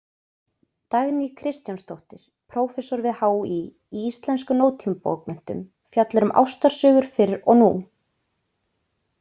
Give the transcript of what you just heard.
Dagný Kristjánsdóttir, prófessor við HÍ í íslenskum nútímabókmenntum, fjallar um ástarsögur fyrr og nú.